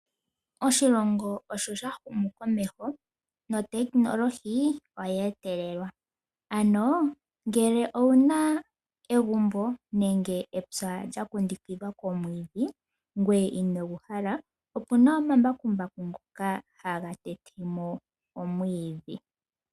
Oshilongo osho sha humu komeho notekinolohi oye etelelwa, ano ngele owu na egumbo nenge epya lya kundukidhwa komwiidhi, ngweye inogu hala opu na omambakumbaku ngoka haga tete mo omwiidhi.